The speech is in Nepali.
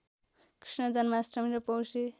कृष्ण जन्माष्टमी र पौषे